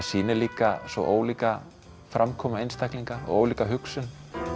sýnir líka svo ólíka framkomu einstaklinga og ólíka hugsun